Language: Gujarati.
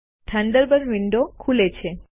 થન્ડરબર્ડ વિન્ડો ખુલે છે